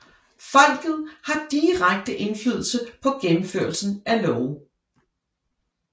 Folket har direkte indflydelse på gennemførelsen af love